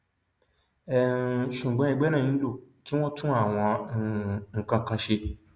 um ṣùgbọn ẹgbẹ náà nílò kí wọn tún àwọn um nǹkan kan ṣe